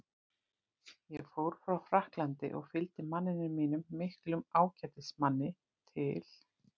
Ég fór frá Frakklandi og fylgdi manninum mínum, miklum ágætismanni, til